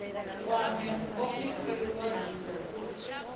kwame muofisiri wa dzingu uri